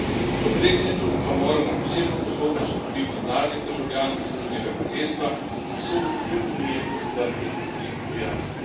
Kljub brexitu pa moramo posebno pozornost nuditi mladim državljanom Združenega kraljestva, ki so do Unije odprti in prijazni.